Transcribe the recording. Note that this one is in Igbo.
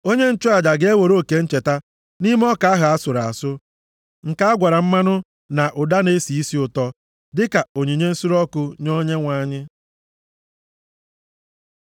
Onye nchụaja ga-ewere oke ncheta nʼime ọka ahụ a sụrụ asụ, nke a gwara mmanụ na ụda na-esi isi ụtọ, dịka onyinye nsure ọkụ nye Onyenwe anyị.